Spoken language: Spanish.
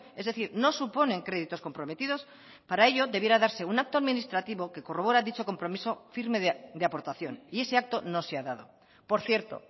es decir no suponen créditos comprometidos para ello debiera darse un acto administrativo que corrobora dicho compromiso firme de aportación y ese acto no se ha dado por cierto